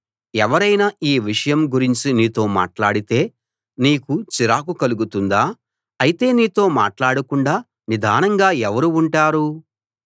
ఎవరైనా ఈ విషయం గురించి నీతో మాట్లాడితే నీకు చిరాకు కలుగుతుందా అయితే నీతో మాట్లాడకుండా నిదానంగా ఎవరు ఉంటారు